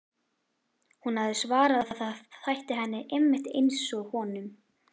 Hún hafði svarað að það þætti henni einmitt einsog honum.